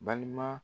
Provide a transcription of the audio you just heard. Balima